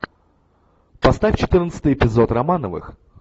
поставь четырнадцатый эпизод романовых